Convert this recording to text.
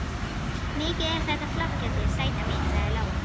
Mikið er þetta flott hjá þér, sæta mín, sagði Lóa.